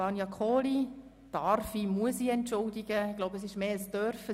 Vania Kohli muss oder darf ich entschuldigen – ich glaube, es ist mehr ein Dürfen: